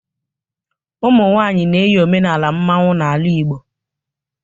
umunwanyi na-eyi omenala mmanwu n'ala Igbo